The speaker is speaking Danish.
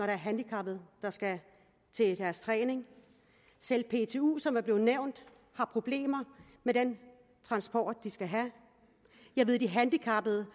er handicappede der skal til træning selv ptu som er blevet nævnt har problemer med den transport de skal have og jeg ved at de handicappede